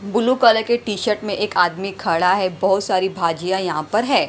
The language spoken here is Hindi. ब्लू कलर के टी-शर्ट में एक आदमी खड़ा है बहुत सारी भाजियाँ यहाँ पर हैं।